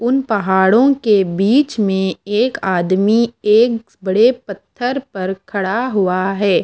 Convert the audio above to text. उन पहाड़ों के बीच में एक आदमी एक बड़े पत्थर पर खड़ा हुआ है।